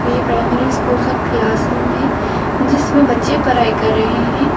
ये primary school का classroom है जिसमें बच्चे पढ़ाई कर रहे हैं।